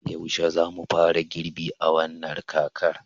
yaushe ne za mu fara girbi a wannan kakar